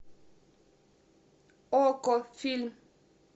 окко фильм